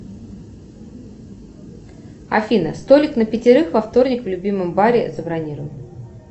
афина столик на пятерых во вторник в любимом баре забронируй